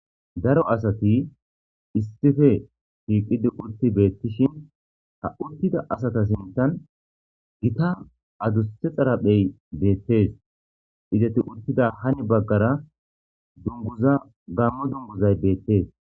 Daro asati issife shiiqidi urti beettishin ta uttida asata sintan gita aduste xaraphey beettees ideti uttida hani baggara dunguza gammo dunguzay beettees.